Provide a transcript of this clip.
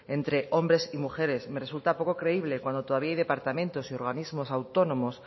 entre hombre y mujeres me resulta poco creíble cuando todavía hay departamentos y organismos autónomos